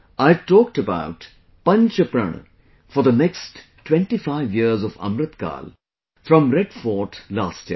I had talked about 'Panch Prana' for the next 25 years of Amritkal from Red Fort last year